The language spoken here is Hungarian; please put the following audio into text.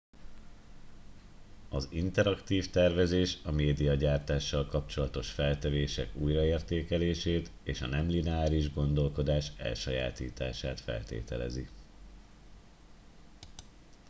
az interaktív tervezés a médiagyártással kapcsolatos feltevések újraértékelését és a nem lineáris gondolkodás elsajátítását feltételezi